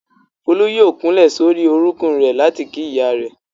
Folú yóò kúnlẹ̀ sórí orúnkún rẹ̀ láti kí ìyá rẹ̀.